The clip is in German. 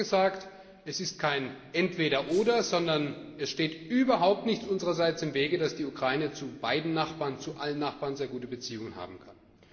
Wir haben immer gesagt Es ist kein Entweder oder, sondern es steht dem unsererseits überhaupt nichts im Wege, dass die Ukraine zu beiden Nachbarn zu allen Nachbarn sehr gute Beziehungen haben kann.